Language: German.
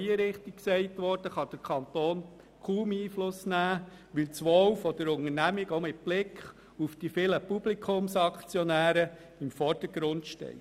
Es wurde richtig gesagt, dass der Kanton energiepolitisch kaum Einfluss nehmen kann, weil das Wohl der Unternehmung mit Blick auf die vielen Publikumsaktionäre im Vordergrund steht.